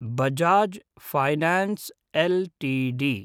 Bajaj finance LTD